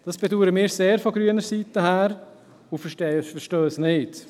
Dies bedauern wir von grüner Seite sehr und verstehen es nicht.